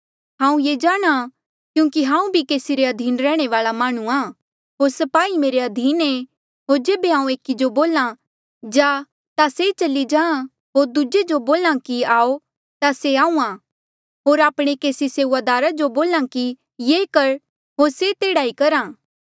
हांऊँ ये जाणा क्यूंकि हांऊँ भी केसी रे अधीन रैहणे वाल्आ माह्णुंआं होर स्पाही मेरे अधीन ऐें होर जेबे हांऊँ एकी जो बोल्हा जा ता से चली जाहाँ होर दूजे जो बोल्हा कि आऊ ता से आहूँआं होर आपणे केसी सेऊआदारा जो बोल्हा कि ये कर होर से तेहड़ा ई करहा